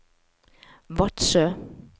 Vadsø